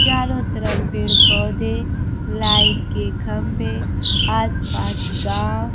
चारों तरफ पेड़ पौधे लाइन के खंभे आस पास गांव--